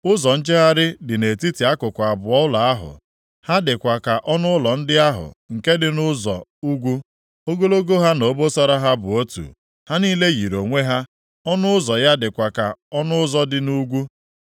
Ụzọ njegharị dị nʼetiti akụkụ abụọ ụlọ ahụ, ha dịkwa ka ọnụụlọ ndị ahụ nke dị nʼụzọ ugwu. Ogologo ha na obosara ha bụ otu; ha niile yiri onwe ha. Ọnụ ụzọ ya dịkwa ka ọnụ ụzọ dị nʼugwu.